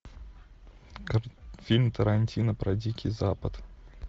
фильм тарантино про дикий запад